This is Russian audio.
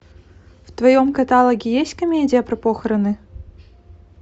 в твоем каталоге есть комедия про похороны